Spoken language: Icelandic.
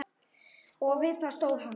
Og við það stóð hann.